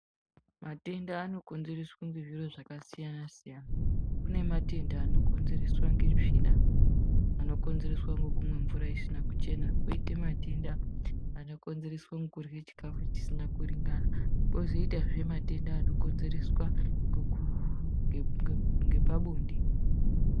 Matenda anokonzereswa ngezviro zvakasiyana siyana kune matenda anokonzerswa ngetsvina anokonzereswa ngekumwa mvura isina kuchena koita matenda anokonzereswa ngekudya chikafu chisina kuringana kozoitawa matenda anokonzereswa ngepabonde .